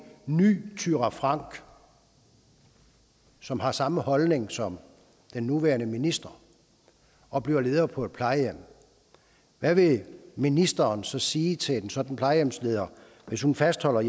ny thyra frank som har samme holdning som den nuværende minister og bliver leder på et plejehjem hvad vil ministeren så sige til en sådan plejehjemsleder hvis hun fastholder